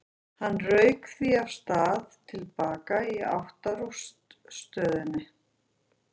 Hann rauk því af stað til baka í átt að rútustöðinni.